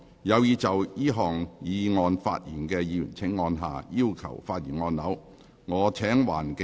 有意就這項議案發言的議員請按下"要求發言"按鈕。